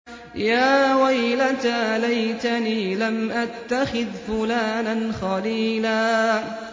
يَا وَيْلَتَىٰ لَيْتَنِي لَمْ أَتَّخِذْ فُلَانًا خَلِيلًا